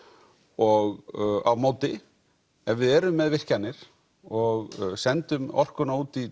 og á móti ef við erum með virkjanir og sendum orkuna út í